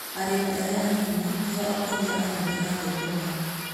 Arĩmi arĩa a nini nĩ o akũria a nene a thũkũma.